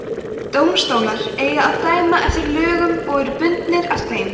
dómstólar eiga að dæma eftir lögum og eru bundnir af þeim